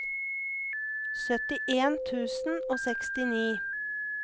syttien tusen og sekstini